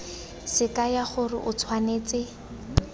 se kaya gore o tshwanetse